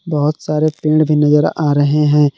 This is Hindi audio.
बहोत सारे पेड़ भी नजर आ रहे है।